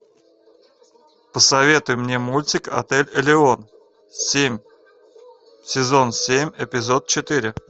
посоветуй мне мультик отель элеон семь сезон семь эпизод четыре